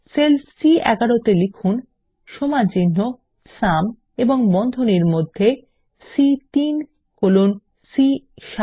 sell সি11 এ লিখুন সমানচিহ্ন সুম এবং বন্ধনীর মধ্যে সি3 কোলন সি7